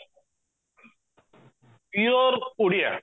pure Odia